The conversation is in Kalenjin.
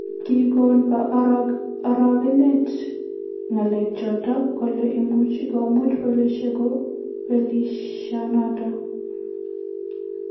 Kigo orogenet galechoton kole imuuch komuuch polisiek kobelisionoton.